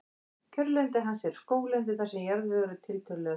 Kjörlendi hans er skóglendi þar sem jarðvegur er tiltölulega þurr.